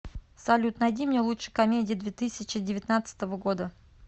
салют найди мне лучшие комедии две тысячи девятнадцатого года